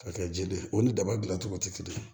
Ka kɛ ji de ye o ni daba dilancogo tɛ kelen ye